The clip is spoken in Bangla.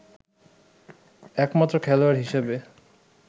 একমাত্র খেলোয়াড় হিসেবে